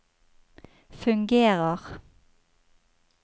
fungerer